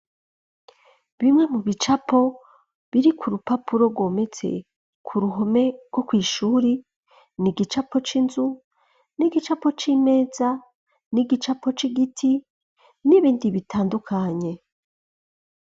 Bimwe mu bicapo biri ku rupapuro rwometse ku ruhome rwo kw'ishure n'igicapo c'inzu, n'igicapo c'imeza, n'igicapo c'igiti n'ibindi bitandukanye.